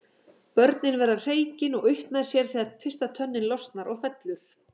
Börnin verða hreykin og upp með sér þegar fyrsta tönnin losnar og fellur.